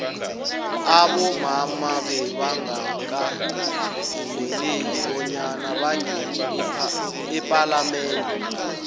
abomama bebangaka vumeleki bonyana bangene ephalamende